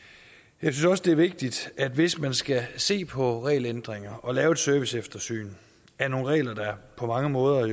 jeg synes også det er vigtigt at hvis man skal se på regelændringer og lave et serviceeftersyn af nogle regler der på mange måder